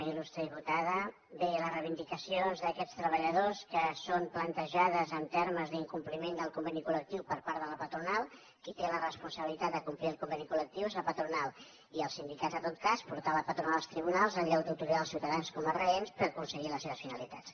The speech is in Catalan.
il·lustre diputada bé les reivindicacions d’aquests treballadors que són plantejades en termes d’incompliment del conveni col·lectiu per part de la patronal qui té la responsabilitat de complir el conveni col·lectiu és la patronal i els sindicats en tot cas portar la patronal als tribunals en lloc d’utilitzar els ciutadans com a ostatges per aconseguir les seves finalitats